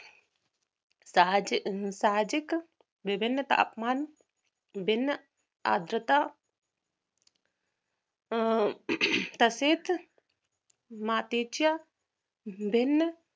साहजिक साहजिक विधिनता अपमान बिन आजता अं तसेत मातेच्या भिन्न